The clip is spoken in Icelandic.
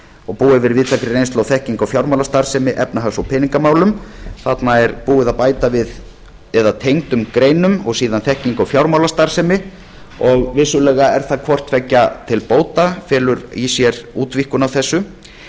og búa yfir víðtækri reynslu og þekkingu á fjármálastarfsemi efnahags og peningamálum þarna er búið að bæta við eða tengdum greinum og síðan þekkingu á fjármálastarfsemi og vissulega er það hvort tveggja til bóta felur í sér útvíkkun